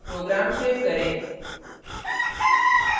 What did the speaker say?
program save करें